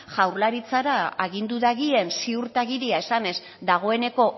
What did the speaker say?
jaurlaritzara agindu dagien ziurtagiria esanez dagoeneko